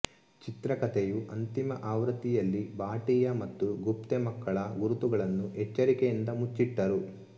ಚಿತ್ರಕಥೆಯ ಅಂತಿಮ ಆವೃತ್ತಿಯಲ್ಲಿ ಭಾಟಿಯಾ ಮತ್ತು ಗುಪ್ತೆ ಮಕ್ಕಳ ಗುರುತುಗಳನ್ನು ಎಚ್ಚರಿಕೆಯಿಂದ ಮುಚ್ಚಿಟ್ಟರು